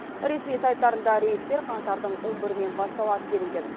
ресми сайттарында рейстер қаңтардың он бірінен басталады делінген